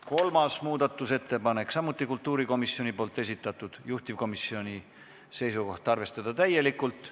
Kolmas muudatusettepanek on samuti kultuurikomisjoni esitatud, juhtivkomisjoni seisukoht on arvestada täielikult.